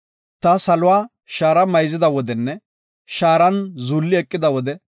Ta saluwa shaara mayzida wodenne shaaran zuulli eqida wode,